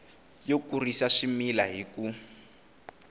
yo kurisa swimila hi ku